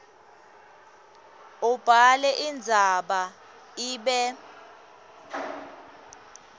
ubhale indzaba ibe